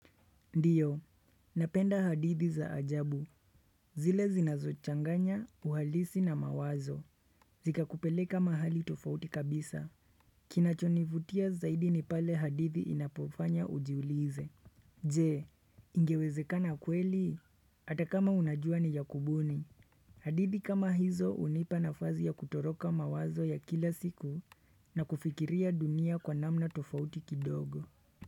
Ndiyo, napenda hadithi za ajabu zile zinazo changanya, uhalisi na mawazo Zika kupeleka mahali tofauti kabisa Kinachonivutia zaidi ni pale hadithi inapofanya ujiulize Jee, ingewezekana kweli? Hata kama unajua ni ya kubuni hadithi kama hizo unipa nafasi ya kutoroka mawazo ya kila siku na kufikiria dunia kwa namna tofauti kidogo.